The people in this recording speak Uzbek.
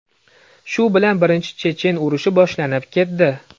Shu bilan Birinchi chechen urushi boshlanib ketdi.